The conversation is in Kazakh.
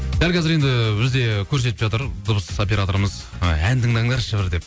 дәл қазір енді бізде көрсетіп жатыр дыбыс операторымыз і ән тыңдаңдарышы бір деп